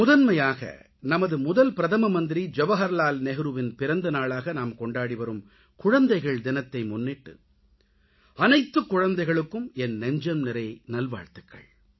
முதன்மையாக நமது முதல் பிரதம மந்திரி ஜவகர்லால் நேருவின் பிறந்த நாளாக நாம் கொண்டாடி வரும் குழந்தைகள் தினத்தை முன்னிட்டு அனைத்துக் குழந்தைகளுக்கும் என் நெஞ்சம்நிறை நல்வாழ்த்துக்கள்